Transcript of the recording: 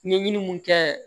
Ɲɛɲini mun kɛ